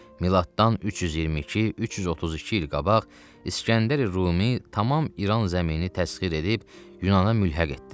Miladdan 322-332 il qabaq İskəndər Rumi tamam İran zəmini təxir edib Yunana mülhəq etdi.